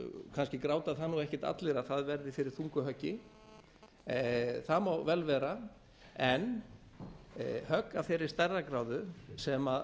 kannski gráta það nú ekkert allir að það verði fyrir þungu höggi það má vel vera en högg af þeirri stærðargráðu sem